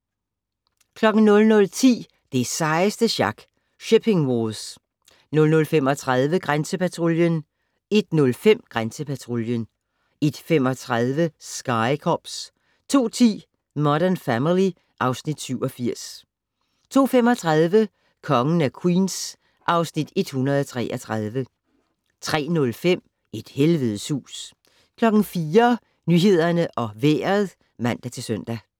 00:10: Det sejeste sjak - Shipping Wars 00:35: Grænsepatruljen 01:05: Grænsepatruljen 01:35: Sky Cops 02:10: Modern Family (Afs. 87) 02:35: Kongen af Queens (Afs. 133) 03:05: Et helvedes hus 04:00: Nyhederne og Vejret (man-søn)